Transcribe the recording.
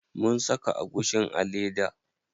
Mun saka agushin a leda.